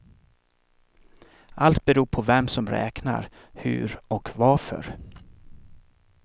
Allt beror på vem som räknar, hur och varför.